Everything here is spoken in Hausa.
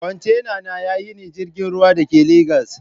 kontena na yina jirgin ruwa Dake legas